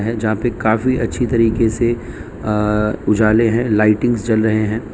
जहां पे काफी अच्छी तरीके से उजाले हैं लाइटिंग्स जल रहे हैं।